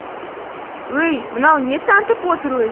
өй мынау не тантып отыр өзі